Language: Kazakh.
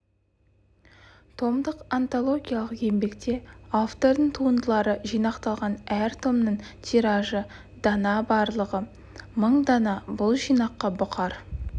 томдық антологиялық еңбекте автордың туындылары жинақталған әр томның тиражы дана барлығы мың дана бұл жинаққа бұқар